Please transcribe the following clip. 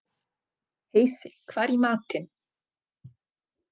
Heisi, hvað er í matinn?